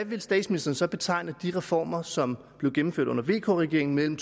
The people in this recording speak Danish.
vil statsministeren så betegne de reformer som blev gennemført under vk regeringen mellem